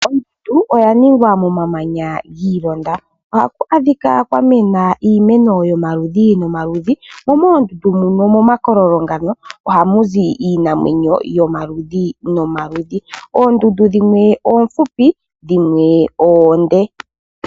Ondondu oya ningwa momamanya gi ilonda. Ohaku adhika kwa mena iimeno yomaludhi nomaludhi , omathimbo gamwe momakololo gayo ohamu zi iinamwenyo yomaludhi nomaludhi. Oondundu dhimwe oomfupi, dhimwe oonde.